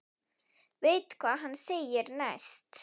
Veit hvað hann segir næst.